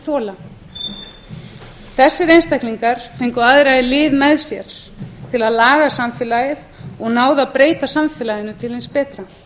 þola þessir einstaklingar fengu aðra í lið með sér til að laga samfélagið og náðu að breyta samfélaginu til hins betra